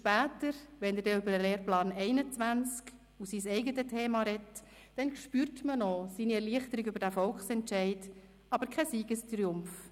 Später, wenn er über den Lehrplan 21 und sein eigenes Thema spricht, spürt man seine Erleichterung über diesen Volksentscheid, aber keinen Siegestriumph.